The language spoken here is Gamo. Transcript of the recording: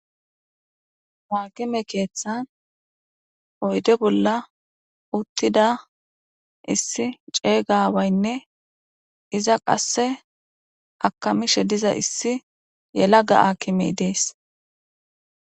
Haakime keethan oyde bolan uthida Issi ceega aawayne iza kase akamishe diza issi helaga aakime de'es.